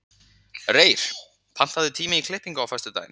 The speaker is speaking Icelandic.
Reyr, pantaðu tíma í klippingu á föstudaginn.